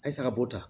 A ye saga bo ta